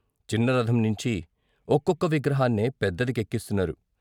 చిన్న రథం నించి ఒక్కొక్క విగ్రహాన్నే పెద్దదికెక్కిస్తున్నారు.